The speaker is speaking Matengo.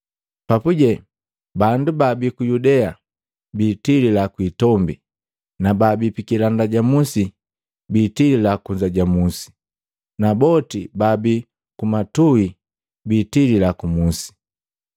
Papuje, bandu baabi ku Yudea bitilila kwi itombi, na baabi pikilanda ja musi biitilila kunza ja musi, na boti baabi ku matuhi biitili ku musi.